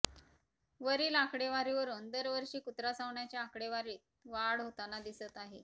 वरील आकडेवरीवरून दरवर्षी कुत्रा चावण्याच्या आकडेवारीत वाढ होताना दिसत आहे